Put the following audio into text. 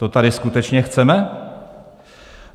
To tady skutečně chceme?